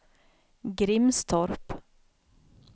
Grimstorp